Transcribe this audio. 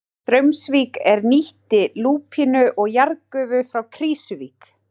Straumsvík er nýtti lúpínu og jarðgufu frá Krýsuvík.